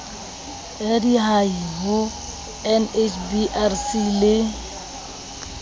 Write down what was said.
ya diahi ho nhbrc le